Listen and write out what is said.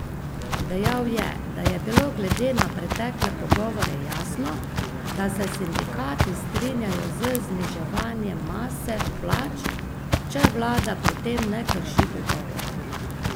Dejal je, da je bilo glede na pretekle pogovore jasno, da se sindikati strinjajo z zniževanjem mase plač, če vlada pri tem ne krši dogovorov.